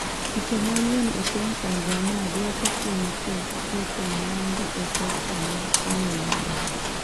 Chike manyien e piny Tanzania duoko piny keto mwandu e sekta mar kunyo mula